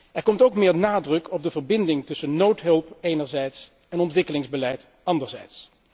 Er komt ook meer nadruk op de verbinding tussen noodhulp, enerzijds, en ontwikkelingsbeleid, anderzijds.